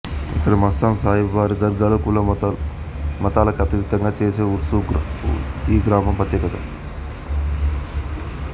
ఇక్కడ మస్తాన్ సాహిబ్ వారి దర్గాలో కుల మతాలకతీతంగా చేసే ఉర్సు ఈగ్రామం ప్రత్యేకత